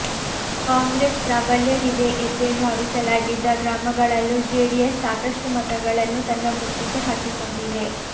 ಕಾಂಗ್ರೆಸ್ ಪ್ರಾಬಲ್ಯವಿದೆ ಎಂದೇ ಭಾವಿಸಲಾಗಿದ್ದ ಗ್ರಾಮಗಳಲ್ಲೂ ಜೆಡಿಎಸ್ ಸಾಕಷ್ಟು ಮತಗಳನ್ನು ತನ್ನ ಬುಟ್ಟಿಗೆ ಹಾಕಿಕೊಂಡಿದೆ